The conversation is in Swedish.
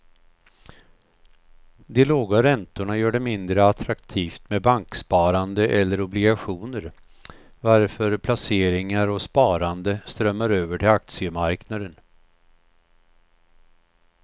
De låga räntorna gör det mindre attraktivt med banksparande eller obligationer varför placeringar och sparande strömmar över till aktiemarknaden.